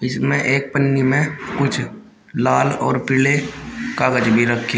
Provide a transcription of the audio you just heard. इसमें एक पन्नी में कुछ लाल और पीले कागज भी रखे--